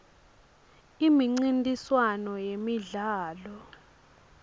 imincintiswano yemidlalo